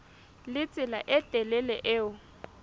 le tsela e telele eo